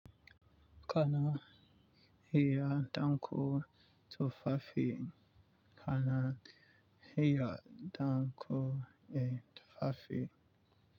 Kana iya ɗinka tufafi. Kana iya ɗinka eh tufafi.